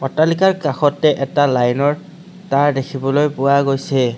অট্টালিকাৰ কাষতে এটা লাইন ৰ তাঁৰ দেখিবলৈ পোৱা গৈছে।